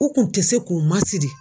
U kun tɛ se k'u masiri.